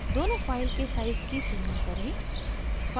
दोनों file के sizes की तुलना करें